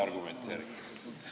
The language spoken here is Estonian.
Aitäh!